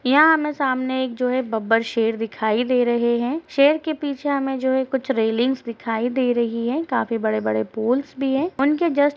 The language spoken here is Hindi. यहाँ हमें सामने जो है एक बब्बर शेर दिखाई दे रहे हैं। शेर के पीछे हमें जो है कुछ रेलिंग्स दिखाई दे रही है। काफी बड़े-बड़े पोल्स भी हैं। उनके जस्ट --